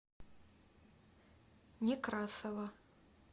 некрасова